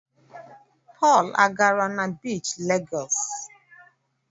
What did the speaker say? Pọl agara na biichi Legọs?